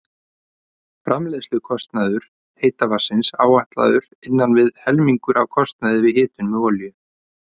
Framleiðslukostnaður heita vatnsins áætlaður innan við helmingur af kostnaði við hitun með olíu.